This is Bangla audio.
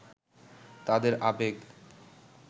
তাদের আবেগ